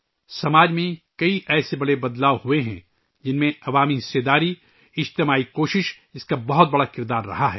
معاشرے میں اس طرح کی کئی بڑی تبدیلیاں آئی ہیں، جن میں عوامی شراکت، اجتماعی کوشش نے بڑا کردار ادا کیا ہے